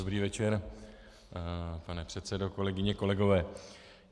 Dobrý večer, pane předsedo, kolegyně, kolegové.